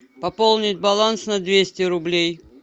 пополнить баланс на двести рублей